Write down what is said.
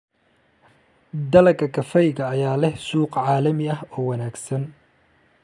Dalagga kafeega ayaa leh suuq caalami ah oo wanaagsan.